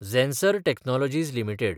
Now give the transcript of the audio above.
Zensar technologies limited